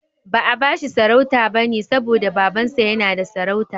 Ba'a bashi sarauta bane saboda Babansa yana da sarauta.